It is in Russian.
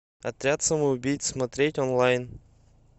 отряд самоубийц смотреть онлайн